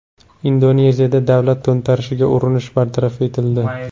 Indoneziyada davlat to‘ntarishiga urinish bartaraf etildi.